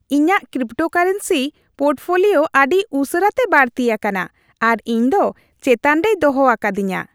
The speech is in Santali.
ᱤᱧᱟᱹᱜ ᱠᱨᱤᱯᱴᱳᱠᱟᱨᱮᱱᱥᱤ ᱯᱳᱨᱴᱯᱷᱳᱞᱤᱭᱳ ᱟᱹᱰᱤ ᱩᱥᱟᱹᱨᱟᱛᱮ ᱵᱟᱹᱲᱛᱤ ᱟᱠᱟᱱᱟ, ᱟᱨ ᱤᱧᱫᱚ ᱪᱮᱛᱟᱱ ᱨᱮᱭ ᱫᱚᱦᱚ ᱟᱠᱟᱫᱤᱧᱟᱹ ᱾